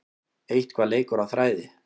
Eitthvað leikur á þræði